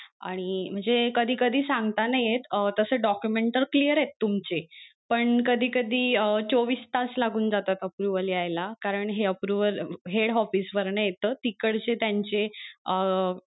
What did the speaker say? आणि म्हणजे कधी कधी सांगता नाही येत तस document तर clear तुमचे पण कधी कधी अं चोवीस तास लागून जातात approval यायला कारण हे approvalhead office वरण येत तिकडचे त्यांचे अं